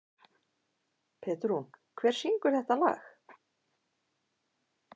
Petrún, hver syngur þetta lag?